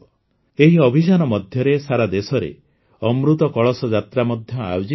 ଏଇ ଅଭିଯାନ ମଧ୍ୟରେ ସାରାଦେଶରେ ଅମୃତ କଳଶ ଯାତ୍ରା ମଧ୍ୟ ଆୟୋଜିତ ହେବ